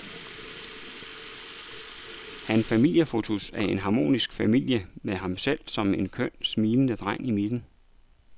Han familiefotos af en harmonisk familie med ham selv som en køn, smilende dreng i midten.